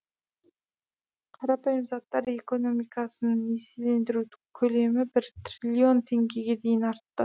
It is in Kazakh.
қарапайым заттар экономикасын несиелендіру көлемі бір триллион теңгеге дейін артты